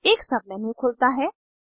एक सबमेन्यू खुलता है